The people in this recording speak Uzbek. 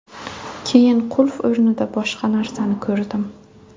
Keyin qulf o‘rnida boshqa narsani ko‘rdim.